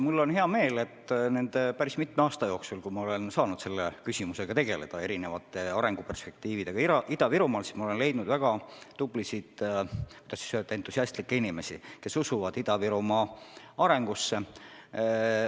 Mul on hea meel, et nende päris mitme aasta jooksul, kui ma olen saanud selle küsimusega, erinevate arenguperspektiividega Ida-Virumaal tegeleda, olen ma leidnud väga tublisid, entusiastlikke inimesi, kes usuvad Ida-Virumaa arengusse.